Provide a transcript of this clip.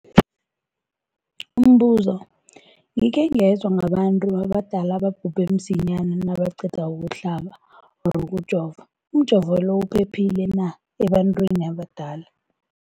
Umbuzo, gikhe ngezwa ngabantu abadala ababhubhe msinyana nabaqeda ukuhlaba, ukujova. Umjovo lo uphephile na ebantwini abadala?